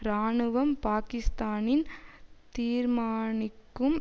இராணுவம் பாக்கிஸ்தானின் தீர்மானிக்கும்